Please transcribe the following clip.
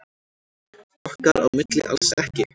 Okkar á milli alls ekki.